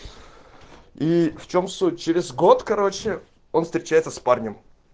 и в чем суть через год короче он встречается с парнем